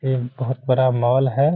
ये बहुत बड़ा मॉल है।